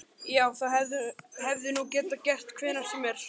Já, það hefði nú getað gerst hvenær sem er.